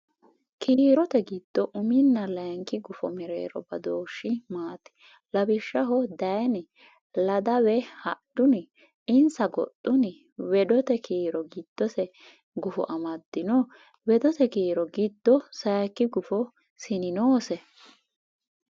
Kiirote giddo uminna layinki gufo mereero badooshshi maati? Lawishsha dayni? Ladawe hadhuni? Insa goxxuni? Weedote kiiro giddose gufo amaddino? Weedote kiiro giddo sayikki gufo sini noose?